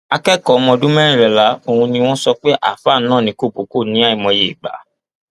akẹkọọ ọmọ ọdún mẹrìnlá ọhún ni wọn sọ pé àáfàá nà ní kọbọkọ ní àìmọye ìgbà